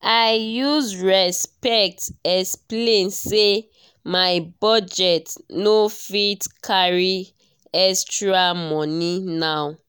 i use respect explain say my budget no fit carry extra money now.